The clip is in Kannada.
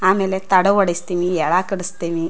ಆಮೇಲೆ ತಡೆ ಓಡ್ಸತ್ತಿನಿ ಎಳಾ ಕಟ್ಟಸ್ತೀನಿ .